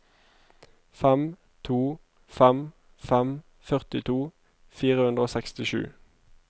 fem to fem fem førtito fire hundre og sekstisju